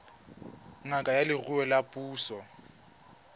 ngaka ya leruo ya puso